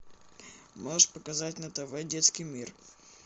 можешь показать на тв детский мир